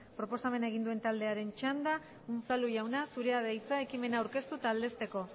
proposamena egin duen taldearen txanda unzalu jauna zurea da hitza ekimena aurkeztu eta aldezteko